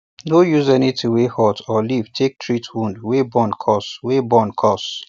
no use anything wey hot or leaf take treat wound wey burn casue wey burn casue